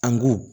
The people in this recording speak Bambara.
An ko